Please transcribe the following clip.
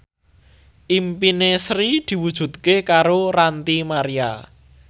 impine Sri diwujudke karo Ranty Maria